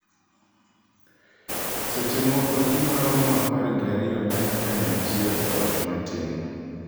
Seche moko ji maromo apar gi ariyo dak kanyachiel e ot matin.